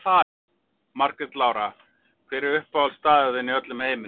Margrét Lára Hver er uppáhaldsstaðurinn þinn í öllum heiminum?